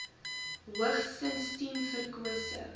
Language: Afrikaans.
hoogstens tien verkose